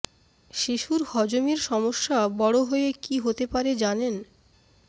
শিশুর হজমের সমস্যা বড় হয়ে কী হতে পারে জানেন